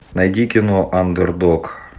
найди кино андердог